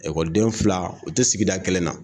Ekɔliden fila u tɛ sigida kelen na